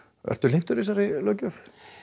ertu hlynntur þessari löggjöf